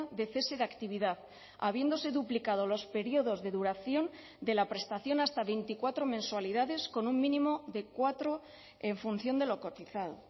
de cese de actividad habiéndose duplicado los periodos de duración de la prestación hasta veinticuatro mensualidades con un mínimo de cuatro en función de lo cotizado